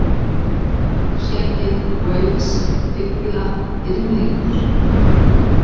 Vörðuskeggi, Wales, Ygla, Yrmlingur